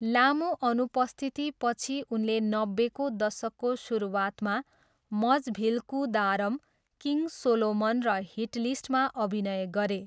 लामो अनुपस्थितिपछि उनले नब्बेको दशकको सुरुवातमा मजभिल्कुदारम, किङ सोलोमन र हिटलिस्टमा अभिनय गरे।